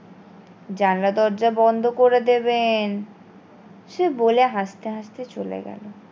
জানলা দরজা বন্ধ করে দেবেন সে বলে হাসতে হাসতে চলে গেলো